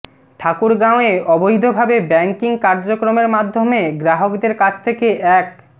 ঠাকুরগাঁওয়ে অবৈধভাবে ব্যাংকিং কার্যক্রমের মাধ্যমে গ্রাহকদের কাছ থেকে এক